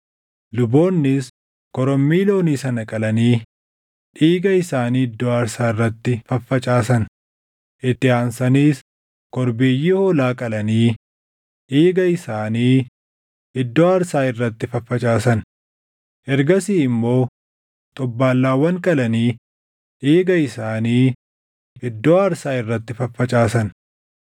Luboonnis korommii loonii sana qalanii dhiiga isaanii iddoo aarsaa irratti faffacaasan; itti aansaniis korbeeyyii hoolaa qalanii dhiiga isaanii iddoo aarsaa irratti faffacaasan; ergasii immoo xobbaallaawwan qalanii dhiiga isaanii iddoo aarsaa irratti faffacaasan.